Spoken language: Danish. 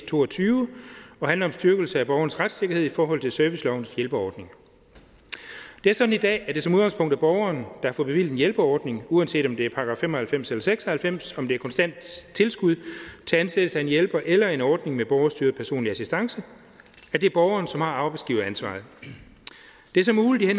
to og tyve og handler om styrkelse af borgerens retssikkerhed i forhold til servicelovens hjælpeordning det er sådan i dag at det som udgangspunkt er borgeren der får bevilget en hjælpeordning uanset om det er § fem og halvfems eller § seks og halvfems om det er konstant tilskud til ansættelse af en hjælper eller en ordning med borgerstyret personlig assistance er det borgeren som har arbejdsgiveransvaret det er så muligt i